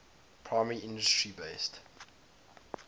primary industry based